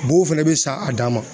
Bugu fɛnɛ bɛ sa a dan ma